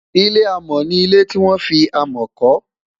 ilé amo ní ilẹ tí wọn fí amo kò